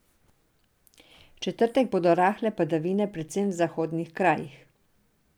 V četrtek bodo rahle padavine predvsem v zahodnih krajih.